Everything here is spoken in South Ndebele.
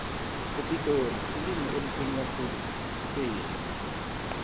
epitori ilimi elikhulunywa khulu sipedi